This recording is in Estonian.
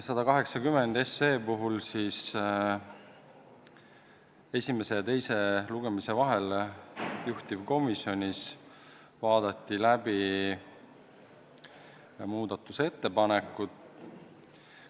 180 SE puhul esimese ja teise lugemise vahel juhtivkomisjonis vaadati läbi muudatusettepanekud.